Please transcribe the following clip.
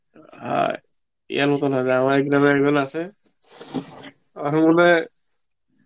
আর ইয়ের মতন হয়ে যাবে আমাদের এখানে একজন আছে, তার মনে হয়